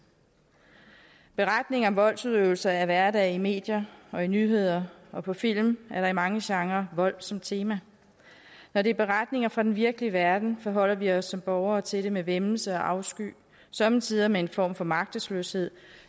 beretninger om voldsudøvelse er hverdag i medier og i nyheder og på film er der i mange genrer vold som tema når det er beretninger fra den virkelige verden forholder vi os som borgere til det med væmmelse og afsky og somme tider med en form for magtesløshed